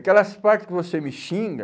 Aquelas partes que você me xinga...